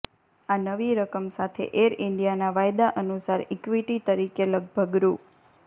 આ નવી રકમ સાથે એર ઇન્ડિયાના વાયદા અનુસાર ઇક્વિટી તરીકે લગભગ રૂ